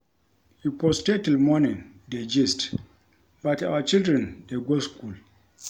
We for stay till morning dey gist but our children dey go school